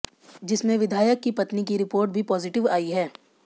जिसमें विधायक की पत्नी की रिपोर्ट भी पॉजिटिव आई है